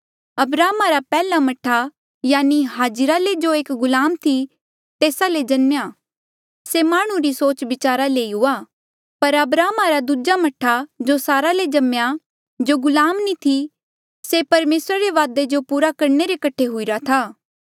अब्राहमा रा पैहला मह्ठा यानि हाजिरा ले जो एक गुलाम थी तेस्सा ले जम्मेया से माह्णुं री सोचबिचारा ले ही हुआ पर अब्राहमा रा दूजा मह्ठा जो सारा ले जम्मेया जो गुलाम नी थी से परमेसरा रे वादे जो पूरा करणे रे कठे हुईरा था